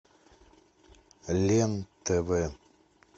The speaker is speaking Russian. лен тв